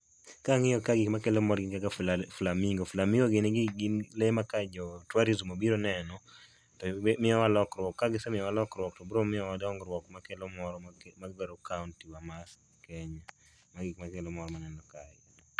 Kangiyo ka gik makelo mor gin kaka flamingo. Flamingo gin gik, gin lee ma ka jo tourism obiro oneno to miyowa lokruok, ka gisemiyo wa lokruok to biro miyowa dongruok ma kelo mor magero kaunti wa ma Kenya. Mago gik makelo mor maneno kae